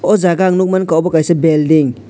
o jaga ang nuk mankha abo kaisa building .